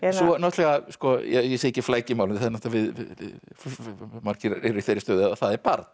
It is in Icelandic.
náttúrulega ég segi ekki flækir málið margir eru í þeirri stöðu að það er barn